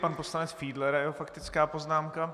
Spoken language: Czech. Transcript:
Pan poslanec Fiedler a jeho faktická poznámka.